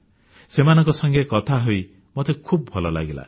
ସେମାନଙ୍କ ସଙ୍ଗେ କଥା ହୋଇ ମୋତେ ଖୁବ୍ ଭଲ ଲାଗିଲା